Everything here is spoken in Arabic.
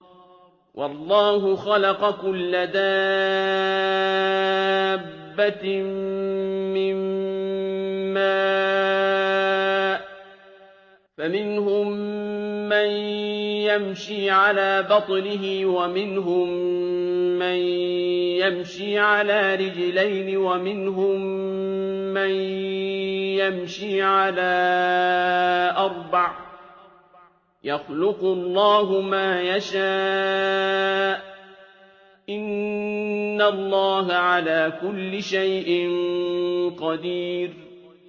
وَاللَّهُ خَلَقَ كُلَّ دَابَّةٍ مِّن مَّاءٍ ۖ فَمِنْهُم مَّن يَمْشِي عَلَىٰ بَطْنِهِ وَمِنْهُم مَّن يَمْشِي عَلَىٰ رِجْلَيْنِ وَمِنْهُم مَّن يَمْشِي عَلَىٰ أَرْبَعٍ ۚ يَخْلُقُ اللَّهُ مَا يَشَاءُ ۚ إِنَّ اللَّهَ عَلَىٰ كُلِّ شَيْءٍ قَدِيرٌ